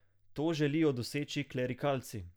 To želijo doseči klerikalci.